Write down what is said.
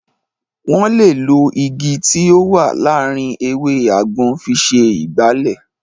Wọ́n lè lo Igi tí ó wà láàárín ewé àgbọn fi ṣe Ìgbálẹ́